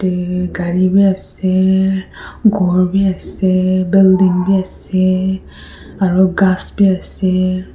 te gari bi ase khor biase building bi ase aru ghas bi ase.